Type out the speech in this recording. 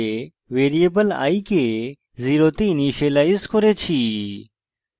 variable i কে 0 তে initialise করেছি